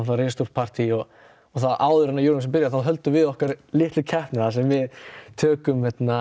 risastórt partý og áður en byrjar höldum við okkar litlu keppni þar sem við tökum